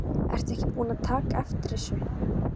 Ertu ekki búinn að taka eftir þessu?